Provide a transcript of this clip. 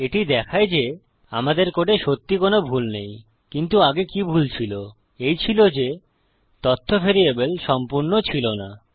এটি দেখায় যে আমাদের কোডে সত্যিই কোনো ভুল নেই কিন্তু আগে কি ভুল ছিল এই ছিল যে তথ্য ভ্যারিয়েবল সম্পূর্ণ ছিল না